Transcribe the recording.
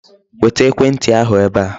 Weta ekwentị ahụ ebe a.